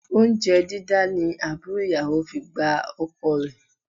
Oúnjẹ dídá ni àbúrò ìyàwó fi gba ọkọ rẹ